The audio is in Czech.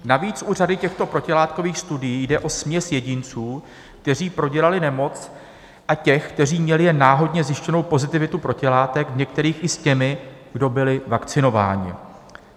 Navíc u řady těchto protilátkových studií jde o směs jedinců, kteří prodělali nemoc, a těch, kteří měli jen náhodně zjištěnou pozitivitu protilátek, v některých i s těmi, kdo byli vakcinováni.